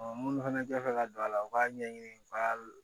minnu fana tɛ fɛ ka don a la u k'a ɲɛɲini u b'a